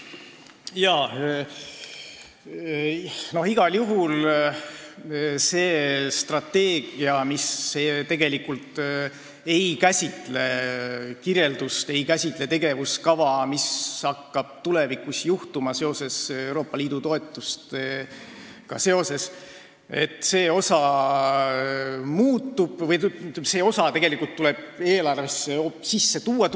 Jah, igal juhul see strateegia tegelikult ei käsitle kirjeldust, ei käsitle tegevuskava, mis hakkab tulevikus juhtuma Euroopa Liidu toetustega seoses, ning see osa tuleb eelarvesse tulevikus sisse tuua.